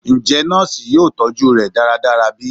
Njẹ nọọsi yoo tọju rẹ daradara bi?